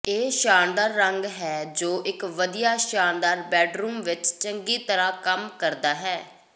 ਇਹ ਸ਼ਾਨਦਾਰ ਰੰਗ ਹੈ ਜੋ ਇੱਕ ਵਧੀਆ ਸ਼ਾਨਦਾਰ ਬੈੱਡਰੂਮ ਵਿੱਚ ਚੰਗੀ ਤਰ੍ਹਾਂ ਕੰਮ ਕਰਦਾ ਹੈ